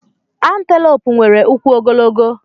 Anteloopu nwere ụkwụ ogologo.